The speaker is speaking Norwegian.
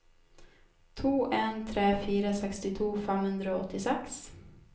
to en tre fire sekstito fem hundre og åttiseks